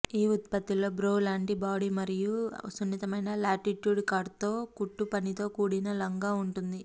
ఈ ఉత్పత్తిలో బ్రో లాంటి బాడీ మరియు సున్నితమైన లాటిట్యూడ్ కట్తో కుట్టుపనితో కూడిన లంగా ఉంటుంది